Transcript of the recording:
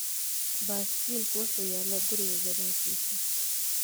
Baaskiilku wuxuu yaalaa guriga gadaashiisa